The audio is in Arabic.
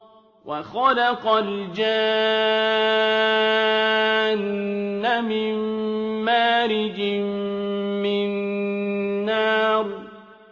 وَخَلَقَ الْجَانَّ مِن مَّارِجٍ مِّن نَّارٍ